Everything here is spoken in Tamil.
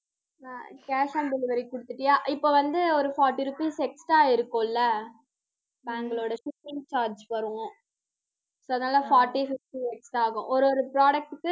அஹ் cash on delivery குடுத்துட்டியா இப்போ வந்து, ஒரு forty rupees extra ஆயிருக்கும் இல்லை இப்ப அவங்களோட shipping charge வரும் so அதனால forty fifty extra ஆகும். ஒரு, ஒரு product க்கு